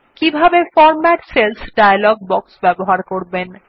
কিভাবে format cells dialog box ব্যবহার করবেন